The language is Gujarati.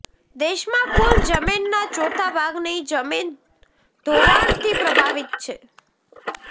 દેશમાં કુલ જમીનના ચોથા ભાગની જમીન ધોવાણથી પ્રભાવિત છે